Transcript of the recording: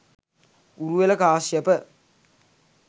Uruvela Kashyapa,